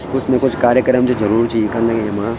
कुछ न कुछ कार्यक्रम च जरूर च इखम न येमा।